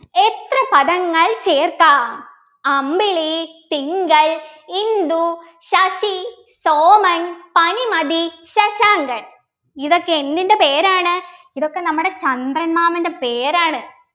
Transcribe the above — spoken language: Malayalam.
എത്ര പദങ്ങൾ ചേർക്കാം അമ്പിളി തിങ്കൾ ഇന്ദു ശശി സോമൻ പനിമതി ശശാങ്കൻ ഇതൊക്കെ എന്തിൻ്റെ പേരാണ് ഇതൊക്കെ നമ്മുടെ ചന്ദ്രൻ മാമൻ്റെ പേരാണ്